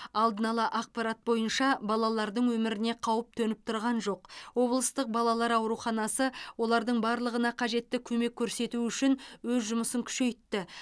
алдын ала ақапарт бойынша балалардың өміріне қауіп төніп тұрған жоқ облыстық балалар ауруханасы олардың барлығына қажетті көмек көрсету үшін өз жұмысын күшейтті